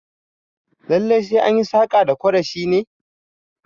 Lallai sai anyi saƙa da kore shi ne?